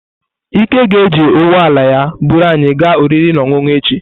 Ike ga-eji ụgbọ ala ya buru anyị gaa oriri na ọṅụṅụ echi.